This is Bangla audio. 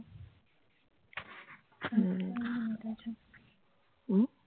হম হম